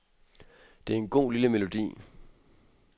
Det er en god, lille melodi.